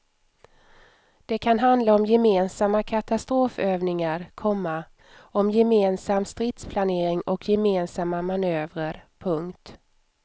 Det kan handla om gemensamma katastrofövningar, komma om gemensam stridsplanering och gemensamma manövrer. punkt